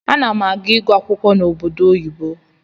Anam aga igụ akwụkwọ na obodo oyibo.